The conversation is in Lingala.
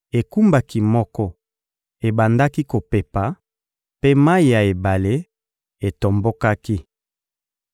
Ekumbaki moko ebandaki kopepa, mpe mayi ya ebale etombokaki.